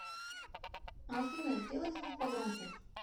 афина сделай звук погромче